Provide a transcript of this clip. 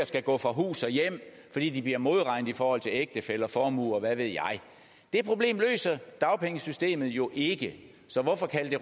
skal gå fra hus og hjem fordi de bliver modregnet i forhold til ægtefælle og formue og hvad ved jeg det problem løser dagpengesystemet jo ikke så hvorfor kalde